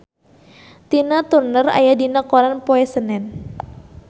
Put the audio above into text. Tina Turner aya dina koran poe Senen